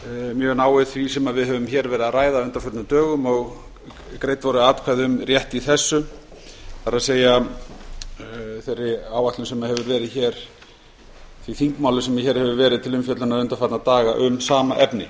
mjög náið því sem við höfum verið að ræða á undanförnum dögum og greidd voru atkvæði um rétt í þessu það er því þingmáli sem hér hefur verið til umfjöllunar undanfarna daga um sama efni